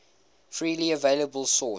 freely available source